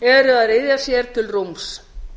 eru að ryðja sér til rúms